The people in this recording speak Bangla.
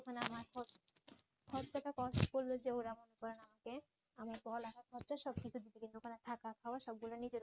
খরচাটা কত টাকা কস্ট পড়বে যে ওরা মনে করেন আমাকে আমার পড়ালেখার খরচা সবকিছু দিবে কিন্তু ওখানে থাকা খাওয়ার সবগুলো নিজের ওপরে